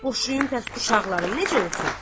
Boşuyum bəs uşaqlarım necə olsun?